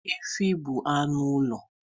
Efi bụ anụ ụlọ